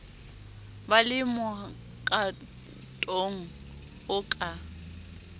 ba le mokatong o ka